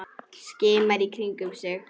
Skimar í kringum sig.